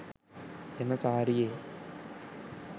එම සාරියේ